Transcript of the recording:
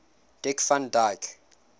dick van dyke